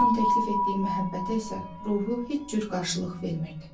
Hamının təklif etdiyi məhəbbətə isə ruhu heç cür qarşılıq vermirdi.